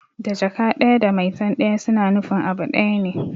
Da Jaka ɗaya da maitan ɗaya suna nufin abu ɗaya ne